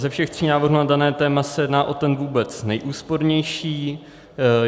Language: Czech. Ze všech tří návrhů na dané téma se jedná o ten vůbec nejúspornější.